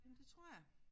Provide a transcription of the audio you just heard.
Men det tror jeg